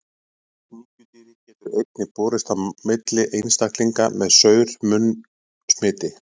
Sníkjudýrið getur einnig borist á milli einstaklinga með saur-munn smiti.